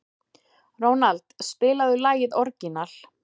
Ronald, spilaðu lagið „Orginal“.